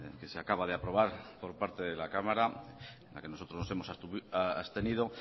que se acaba de aprobar por parte de la cámara a la que nosotros nos hemos abstenido